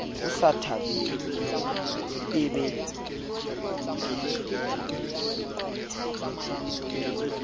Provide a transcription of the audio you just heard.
ho sa thabelwe e be